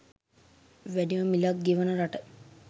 වැඩිම මිලක් ගෙවන රට